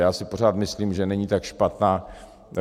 Já si pořád myslím, že není tak špatná.